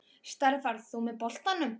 Starfar þú með boltanum?